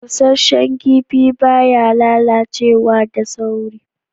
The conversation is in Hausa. Bushashan kipi ba ya lallacewa da saurischians